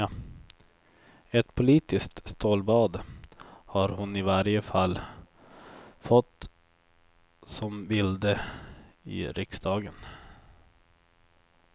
Ett politiskt stålbad har hon i varje fall fått som vilde i riksdagen.